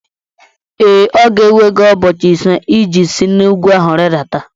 Ee, ọ ga-ewe gị ụbọchị ise iji si n'ugwu ahụ rịdata